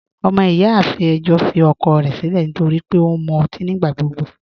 Ọmọ-iyáafin ẹ̀jọ́ fì ọ̀kọ̀ rẹ̀ sílẹ̀ nítorí pẹ̀ ọ̀ n mú òtí yó nígbàgbọ̀gbọ